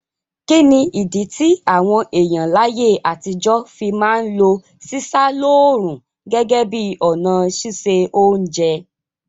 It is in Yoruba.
Kíni ìdí ti àwon èyàn láyé àtijọ́ fi ma n lo sísá lóòrùn gẹ́gẹ́ bi ọ̀nà sise ounje